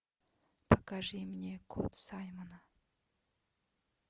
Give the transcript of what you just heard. покажи мне кот саймона